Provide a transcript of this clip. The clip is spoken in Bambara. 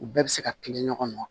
U bɛɛ bɛ se ka kilen ɲɔgɔn na